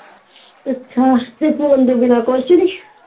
ਅੱਛਾ ਤੇ phone ਤੋਂ ਬਿਨਾ ਕੁਝ ਨੀ।